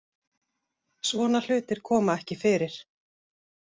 Svona hlutir koma ekki fyrir